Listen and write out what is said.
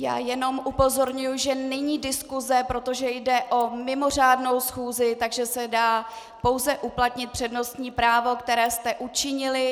Já jenom upozorňuji, že není diskuse, protože jde o mimořádnou schůzi, takže se dá pouze uplatnit přednostní právo, které jste učinili.